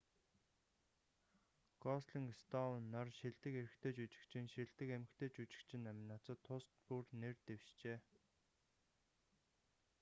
гослинг стоун нар шилдэг эрэгтэй жүжигчин шилдэг эмэгтэй жүжигчин номинацад тус бүр нэр дэвшжээ